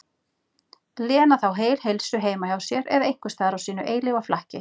Lena þá heil heilsu heima hjá sér eða einhvers staðar á sínu eilífa flakki.